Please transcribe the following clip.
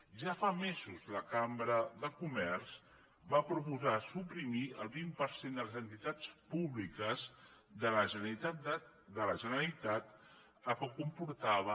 ja fa mesos la cambra de comerç va proposar suprimir el vint per cent de les entitats públiques de la generalitat que comportava